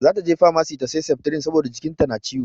Zata je famasi ta sai septrin saboda jikin ta na ciwo.